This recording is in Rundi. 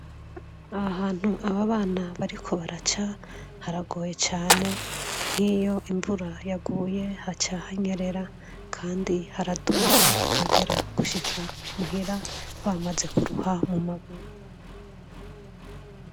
Aha hantu aba bana bariko baraca haragoye cane nk'iyo imvura yaguye haca hanyerera kandi haraduga bagera gushika muhira bamaze kuruha mu maguru.